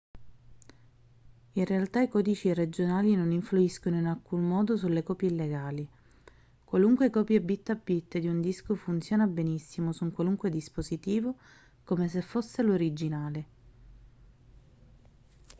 in realtà i codici regionali non influiscono in alcun modo sulle copie illegali qualunque copia bit a bit di un disco funziona benissimo su un qualunque dispositivo come se fosse l'originale